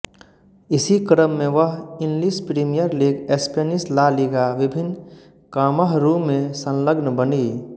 इसी क्रममें वह English Premier League Spanish La Liga विभिन्न कामहरूमें संलग्न बनी